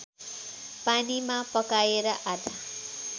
पानीमा पकाएर आधा